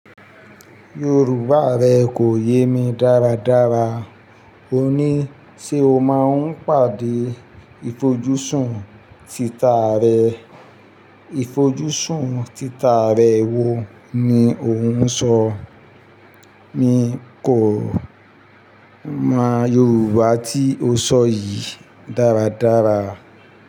Yorùbá rẹ kò yé mi dáradára. O ní, "ṣé o máa ń pàdé ifojúsùn tita rẹ? Ifojúsùn tita rẹ wo ni ò ń sọ?" Mi kò mọ Yorùbá tí o sọ yìí dáradára.